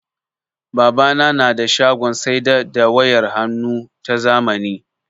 Babana na da shagon saida da wayar hannnu ta zamani.